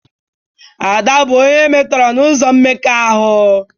Ada bụ onye e metọrọ n'ụzọ mmekọahụ